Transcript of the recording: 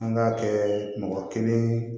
An k'a kɛɛ mɔgɔ kelen